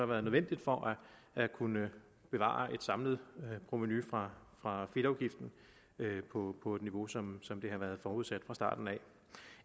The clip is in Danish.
været nødvendigt for at kunne bevare et samlet provenu fra fra fedtafgiften på et niveau som som har været forudsat fra starten af